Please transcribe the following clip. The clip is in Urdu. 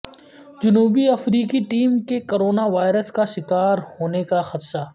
جنوبی افریقی ٹیم کے کرونا وائرس کا شکار ہونیکا خدشہ